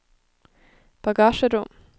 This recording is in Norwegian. bagasjerom